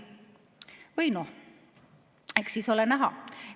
Või noh, eks siis ole näha.